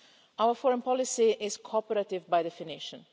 Our foreign policy is cooperative by definition.